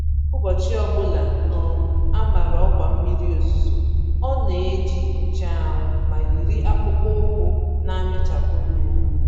Ụbọchị ọbula um a màrà ọkwa mmiri ozuzo ọ neji nche anwụ, ma yiri akpụkpọ ụkwụ namịchapụ mmiri.